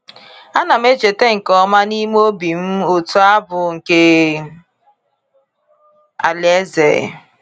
A kam na echeta nke ọma n’ime obi m otu abụ nke Alaeze.